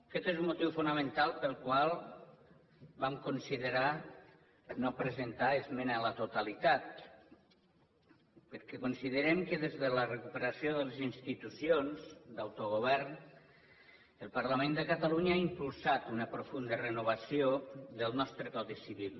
aquest és un motiu fonamental pel qual vam considerar no presentar esmena a la totalitat perquè considerem que des de la recuperació de les institucions d’autogovern el parlament de catalunya ha impulsat una profunda renovació del nostre codi civil